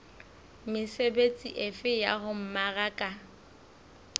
mesebetsi efe ya ho mmaraka